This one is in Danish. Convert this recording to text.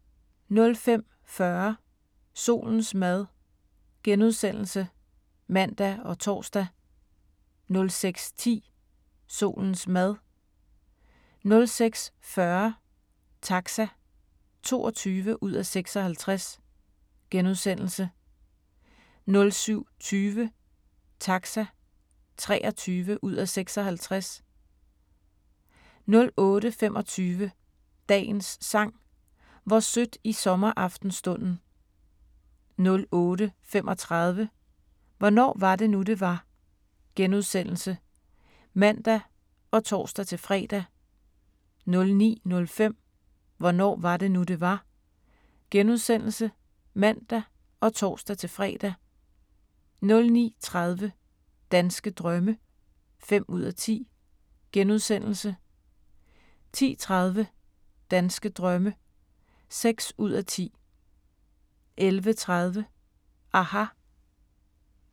05:40: Solens mad *(man og tor) 06:10: Solens mad 06:40: Taxa (22:56)* 07:20: Taxa (23:56) 08:25: Dagens Sang: Hvor sødt i sommeraftenstunden 08:35: Hvornår var det nu, det var? *(man og tor-fre) 09:05: Hvornår var det nu, det var? *(man og tor-fre) 09:30: Danske drømme (5:10)* 10:30: Danske drømme (6:10) 11:30: aHA!